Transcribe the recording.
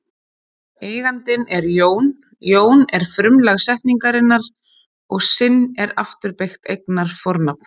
Eigandinn er Jón, Jón er frumlag setningarinnar og sinn er afturbeygt eignarfornafn.